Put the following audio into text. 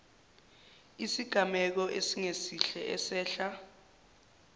isigameko esingesihle esehla